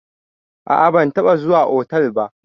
A a ban taɓa zuwa otal ba.